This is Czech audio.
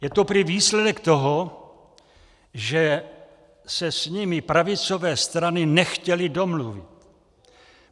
Je to prý výsledek toho, že se s nimi pravicové strany nechtěly domluvit.